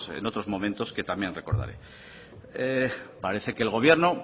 en otros momentos que también recordaré parece que el gobierno